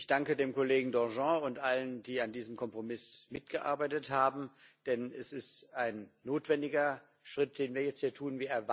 Ich danke dem Kollegen Danjean und allen, die an diesem Kompromiss mitgearbeitet haben, denn es ist ein notwendiger Schritt, den wir jetzt hier tun.